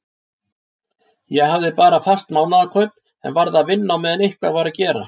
Ég hafði bara fast mánaðarkaup en varð að vinna á meðan eitthvað var að gera.